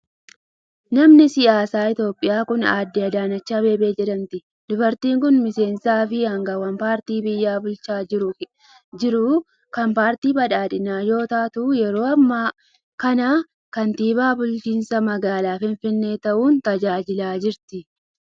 Namni siyaasaa Itoophiyaa kun, Aaddee Adaanach Abeebee jedhamti. Dubartiin kun miseensa fi aangawa paartii biyya bulchaa jiruu kan paartii badhaadhinaa yoo taatu, yeroo ammaa kana kantiibaa bulchiinsa magaalaa Finfinnee ta'uun tajaajilaa jirti.